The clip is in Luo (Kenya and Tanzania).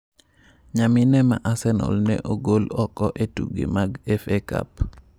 Nyamine ma Arsenal ne ogol oko e tuke mag FA Cup